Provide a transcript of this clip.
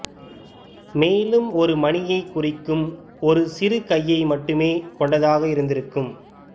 மேலும் ஒரு மணியைக் குறிக்கும் ஒரு சிறு கையை மட்டுமே கொண்டதாக இருந்திருக்கும்